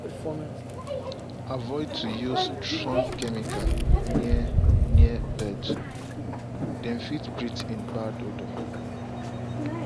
avoid to use strong chemicals near near bords- dem fit breath in the bad odour.